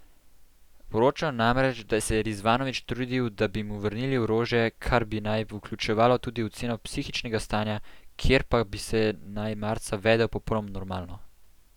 Poročajo namreč, da se je Rizvanovič trudil, da bi mu vrnili orožje, kar bi naj vključevalo tudi oceno psihičnega stanja, kjer pa bi se naj marca vedel popolnoma normalno.